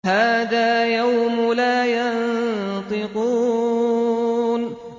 هَٰذَا يَوْمُ لَا يَنطِقُونَ